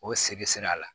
O se bɛ sira la